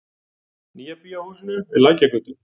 Nýja bíó húsinu við Lækjargötu.